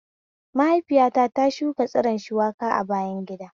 Maihaifiyata ta shuka tsiron shuwaka a bayan gida